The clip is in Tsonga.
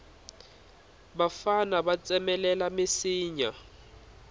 vafana va tsemelela minsinya